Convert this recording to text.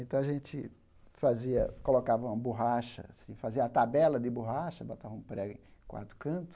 Então a gente fazia colocava uma borracha assim, fazia a tabela de borracha, botava um prego em quadro canto,